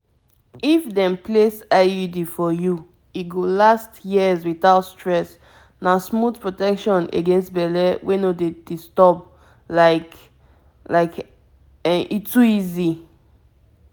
if dem place iud for you e go last years without stress na smooth protection against belle wey no dey disturb like like um e too easy.